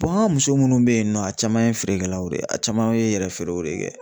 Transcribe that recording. an ka muso munnu be yen nɔ ,a caman ye feerekɛlaw de ye ;a caman ye yɛrɛ feerew de